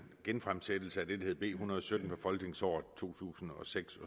genfremsættelse af det der hed b en hundrede og sytten fra folketingsåret to tusind og seks